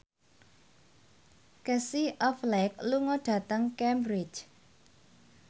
Casey Affleck lunga dhateng Cambridge